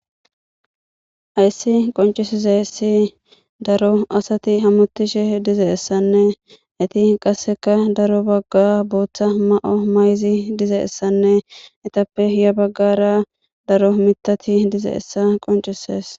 Hayssi qoncisizessi daro asati hamutishe dize'essanne eti qasseka daro bagga booththa ma7o mayzi dizeessanne etappe iya baggara daro mitati dize essa qoncisees